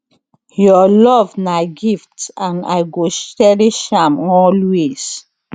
your love na gift and i go cherish am always